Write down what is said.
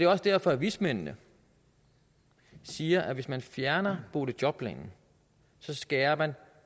også derfor at vismændene siger at hvis man fjerner boligjobplanen skærer man